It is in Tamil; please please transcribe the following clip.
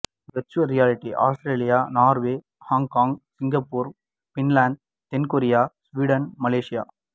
virtual reality Australia Norway Hong Kong Singapore Finland தென் கொரியா சுவீடன் மலேசியா